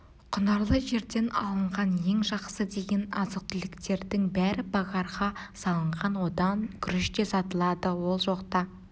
құнарлы жерден алынған ең жақсы деген азық-түліктердің бәрі багарға салынған онда күріш те сатылады ол жақта